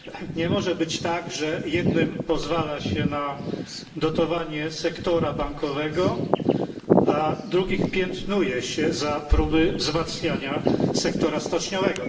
Nie może być tak, że jednym pozwala się na dotowanie sektora bankowego, a drugich piętnuje się za próby wzmacniania sektora stoczniowego.